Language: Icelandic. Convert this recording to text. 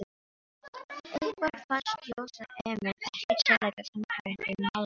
Eitthvað fannst Jósa Emil ekkert sérlega sannfærandi í málrómnum.